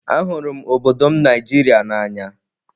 Ahụrụ m obodo m Nigeria n'anya.